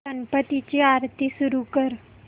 गणपती ची आरती सुरू कर